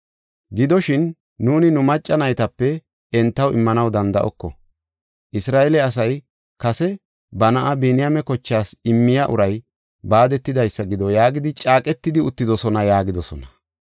Gidoshin, nuuni nu macca naytape entaw immanaw danda7oko. Isra7eele asay kase, ‘Ba na7a Biniyaame kochaas immiya uray baadetidaysa gido’ yaagidi caaqetidi uttidosona” yaagidosona.